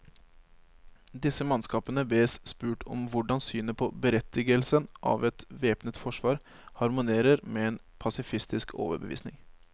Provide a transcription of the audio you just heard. Disse mannskapene bes spurt om hvordan synet på berettigelsen av et væpnet forsvar harmonerer med en pasifistisk overbevisning.